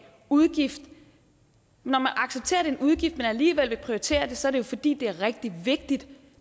udgift når man accepterer er en udgift men alligevel vil prioritere det så jo fordi det er rigtig vigtigt